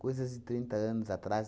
Coisas de trinta anos atrás.